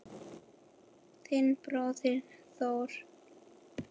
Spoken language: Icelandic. Þinn bróðir Þór.